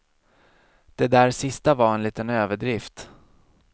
Det där sista var en liten överdrift.